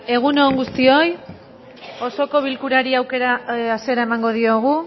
egun on guztioi osoko bilkurari hasiera emango diogu